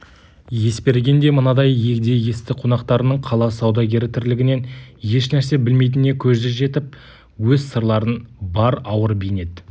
есберген де мынадай егде есті қонақтарының қала саудагері тірлігінен ешнәрсе білмейтініне көзі жетіп өз сырларын бар ауыр бейнет